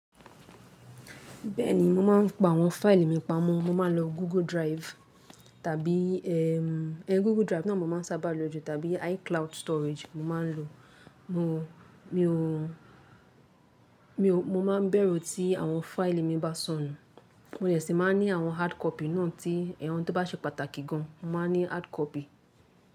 Bẹ́ẹ̀ni, mo máa ń pa àwọn fáìlì mi pamọ́. Mo máa ń lo Google Drive tàbí, Google Drive náà mo máa ń sábà lo al the time bí iCloud storage mo máa ń lo. Mo, mi o, mi o, mo máa ń bẹ̀rù tí àwọn fáìlì mi bá sọnù. Mo sese máa ní àwọn hardcopy náà tí àwọn tó bá ṣe pàtàkì gan mo máa ń ní hardcopy.